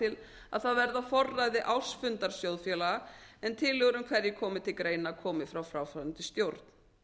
til að það verði á forræði ársfundar sjóðfélaga en að tillögur um hverjir komi til greina komi frá fráfarandi stjórn